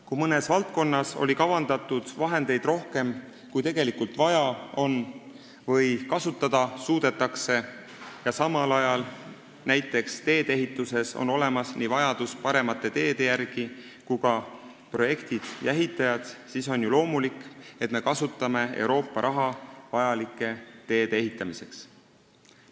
Kui mõnes valdkonnas on kavandatud vahendeid rohkem, kui tegelikult vaja on või kasutada suudetakse, ja samal ajal on näiteks tee-ehituses olemas nii vajadus paremate teede järele kui ka projektid ja ehitajad, siis on ju loomulik, et me kasutame Euroopa raha teede ehitamiseks.